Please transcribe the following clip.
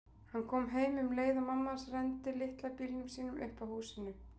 Hann kom heim um leið og mamma hans renndi litla bílnum sínum upp að húsinu.